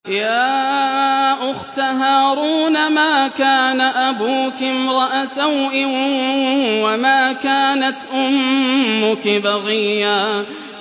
يَا أُخْتَ هَارُونَ مَا كَانَ أَبُوكِ امْرَأَ سَوْءٍ وَمَا كَانَتْ أُمُّكِ بَغِيًّا